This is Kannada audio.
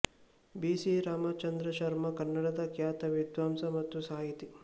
ಬಿ ಸಿ ರಾಮಚಂದ್ರ ಶರ್ಮ ಕನ್ನಡದ ಖ್ಯಾತ ವಿದ್ವಾಂಸ ಮತ್ತು ಸಾಹಿತಿ